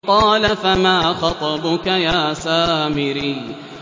قَالَ فَمَا خَطْبُكَ يَا سَامِرِيُّ